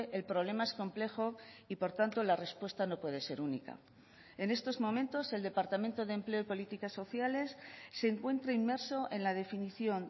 el problema es complejo y por tanto la respuesta no puede ser única en estos momentos el departamento de empleo y políticas sociales se encuentra inmerso en la definición